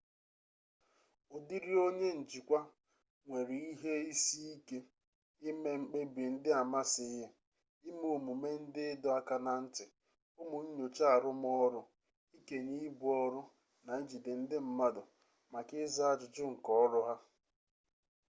ụdịrị onye njikwa a nwere ihe isi ike ime mkpebi ndị amasịghị ime omume ndị ịdọ aka na ntị ụmụ nnyocha arụmọrụ ikenye ibu ọrụ na ijide ndị mmadụ maka ịza ajụjụ nke ọrụ ha